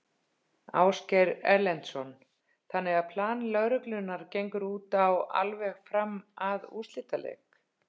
Ásgeir Erlendsson: Þannig að plan lögreglunnar gengur út á alveg fram að úrslitaleik?